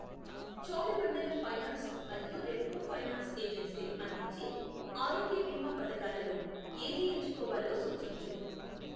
Cholamandalam finance మరియు Repco finance ఏజన్సీలు అందించే ఆరోగ్య బీమా పథకాలలో ఏది ఎంచుకోవాలో సూచించు .